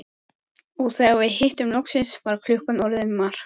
Og þegar við hittumst loksins var klukkan orðin margt.